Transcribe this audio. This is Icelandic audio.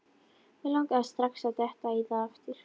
Mig langaði strax að detta í það aftur.